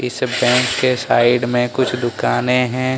इस बैंक की साइड में कुछ दुकानें हैं।